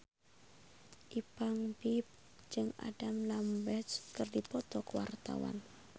Ipank BIP jeung Adam Lambert keur dipoto ku wartawan